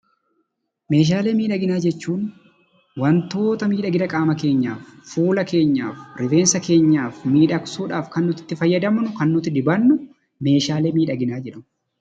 Meeshaalee miidhaginaa jechuun wantoota miidhagina qaama keenyaaf, fuula keenyaaf, rifeensa keenyaaf miidhagsuudhaaf kan nuti itti fayyadamnu, kan nuti dibannu meeshaalee miidhaginaa jedhamu.